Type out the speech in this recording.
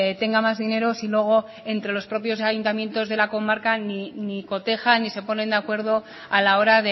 tenga más dinero si luego entre los propios ayuntamientos de la comarca ni cotejan ni se ponen de acuerdo a la hora